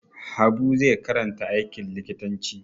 Habu zai karanta aikin likitanci.